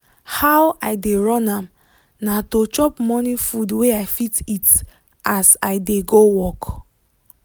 how i dey run am na to chop morning food wey i fit eat as i dey go work.